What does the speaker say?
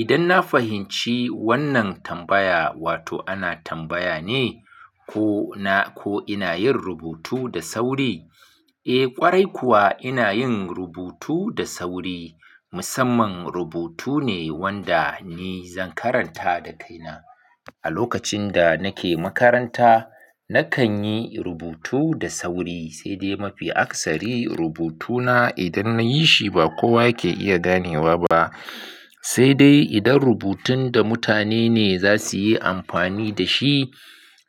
Idan na fahimci wannan tambaya, wato ana tambaya ne ko ina yin rubutu da sauri? Eh ƙwarai kuwa ina yin rubutu da sauri. Musamman rubutu ne wanda ni zan karanta da kaina. A lokacin da nake makaranta, nakan yi rubutu da sauri, sai dai mafi akasari rubutuna idan na yi shi ba kowa yake iya ganewa ba. Sai dai idan rubutun da mutane ne za su yi amfani da shi,